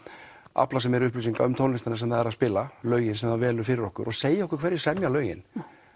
afla sér meiri upplýsinga um tónlistina sem það er að spila lögin sem það velur fyrir okkur og segja okkur hverjir semja lögin